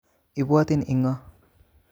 Ibwotin inko